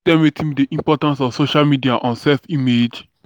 you fit tell me wetin be di impact of social media on self-image?